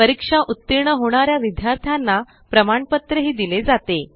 परीक्षा उत्तीर्ण होणाऱ्या विद्यार्थ्यांना प्रमाणपत्र दिले जाते